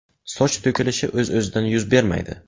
Soch to‘kilishi o‘z-o‘zidan yuz bermaydi.